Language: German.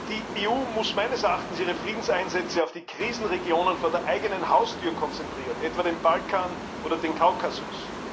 Die EU muss meines Erachtens ihre Friedenseinsätze auf die Krisenregionen vor der eigenen Haustür konzentrieren, etwa den Balkan oder den Kaukasus.